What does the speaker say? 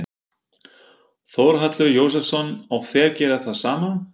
Þórhallur Jósefsson: Og þeir gera það sama?